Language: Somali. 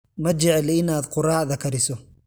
Ma jecli in aad quraacda kariso?